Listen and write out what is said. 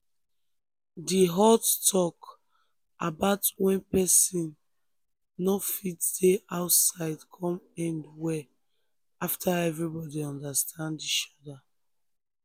di hot talk about when person no fit dey outside come end well after everybody understand each other.